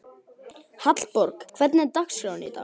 Hallborg, hvernig er dagskráin í dag?